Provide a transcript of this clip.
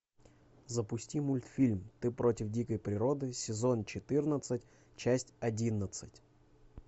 запусти мультфильм ты против дикой природы сезон четырнадцать часть одиннадцать